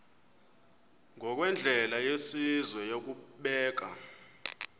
ngokwendlela yesizwe yokubeka